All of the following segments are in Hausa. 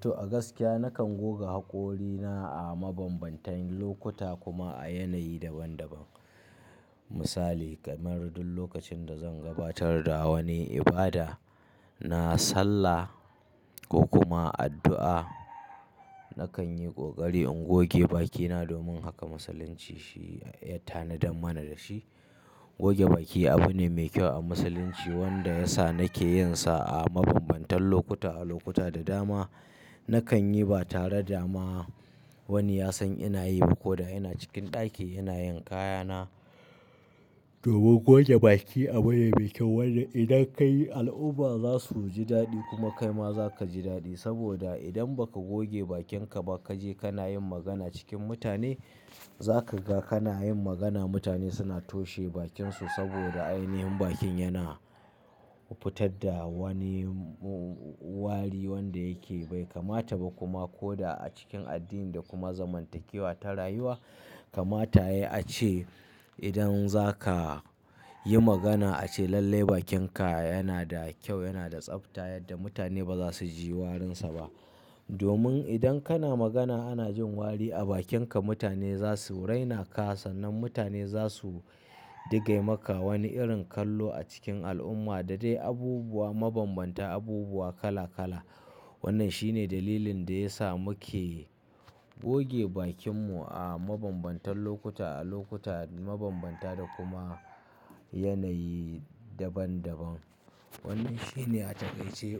To, a gaskiya nakan goga haƙorina a mabambantan lokuta kuma a yanayi daban-daban. Misali kamar duk lokacin da zan gabatar da wani ibada, na sallah ko kuma addu'a, nakan yi ƙoƙari in goge bakina. Domin haka Musulunci shi ya tanada mana da shi. Goge baki abu ne mai kyau a Musulunci wanda ya sa nake yin sa a mabambantan lokuta a lokuta da dama. Nakan yi ba tare da ma wani ya san ina yi ba ko da ina cikin ɗaki ina yin kayana. Domin goge baki abu ne mai kyau wanda idan ka yi al'umma za su ji daɗi kuma kai ma za ka ji daɗi. Saboda idan ba ka goge bakinka ba ka je kana yin magana cikin mutane, za ka ga kana yin magana mutane suna toshe bakinsu saboda ainihin bakin yana fitar da wani wari wanda yake bai kamata ba. Kuma ko da a cikin addini da kuma zamantakewa ta rayuwa kamata ya a ce idan za ka yi magana a ce lalle bakinka yana da kyau, yana da tsafta yadda mutane ba za su ji warinsa ba. Domin idan kana magana ana jin wari a bakinka, mutane za su raina ka sannan mutane za su diga maka wani irin kallo a cikin al'umma da dai abubuwa mabambanta, abubuwa kala-kala. Wannan shi ne dalilin da ya sa muke goge bakinmu a mabambantan lokuta a lokuta mabambanta da kuma yanayi daban-daban. Wannan shi ne a takaice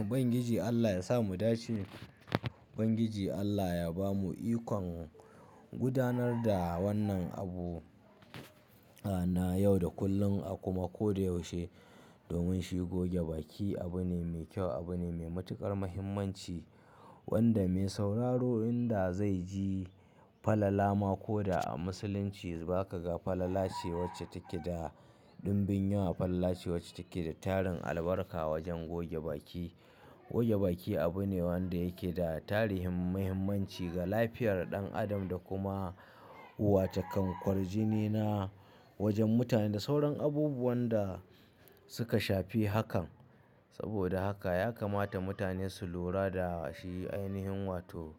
ubangiji Allah yasa mu dace. Ubangiji Allah ya bamu ikon gudanar da wannan abu a na yau da kullum a kuma ko da yaushe. Domin shi goge baki abu ne mai kyau, abu ne mai matuƙar muhimmanci wanda mai sauraro inda zai ji falala ma. Ko da a Musulunci ba ka ga falala ce wacce take da dunbun yawa, falala ce wacce take da tarin albarka wajen goge baki. Goge baki abu ne wanda yake da tarin muhimmanci ga lafiyar ɗan adam da kuma wa takan kwarjini na wajen mutane da sauran abubuwan da suka shafi hakan. Saboda haka ya kamata mutane su lura da shi ainihin wato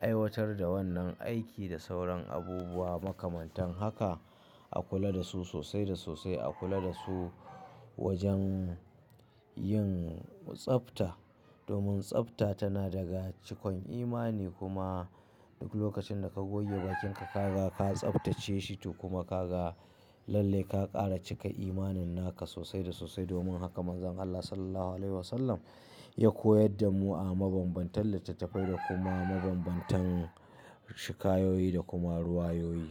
aiwatar da wannan aiki da sauran abubuwa makamantan haka a kula da su sosai da sosai, a kula da su wajen yin tsafta. Domin tsafta tana daga cikon imani kuma duk lokacin da ka goge bakinka ka ga ka tsaftace shi toh kuma ka ga lalle ka ƙara cika imaninna ka sosai da sosai. Domin haka mazan Allah Sallallahu Alaihi Wasallam ya koyar da mu a mabambantan littattafai da kuma mabambantan shika yoyi da kuma ruwayoyi.